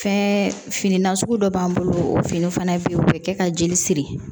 Fɛn fini nasugu dɔ b'an bolo o fini fana be yen o be kɛ ka jeli siri